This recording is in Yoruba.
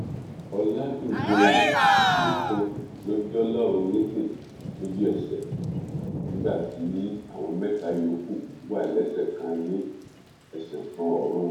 ọládúnjọyé nìkan ló jọlọrun nípẹ lójúẹsẹ nígbà tí àwọn mẹta yòókù wà lẹsẹ kan ayé ẹsẹ kan ọrun